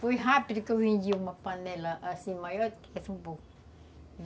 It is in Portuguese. Foi rápido que eu vendi uma panela assim, maior do que essa um pouco.